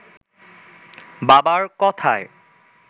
বাবার কথায়